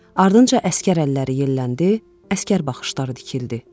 Ardınca əsgər əlləri yelləndi, əsgər baxışları dikildi.